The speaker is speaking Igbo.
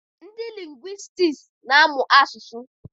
Ndị lingwistiks na-amụ asụsụ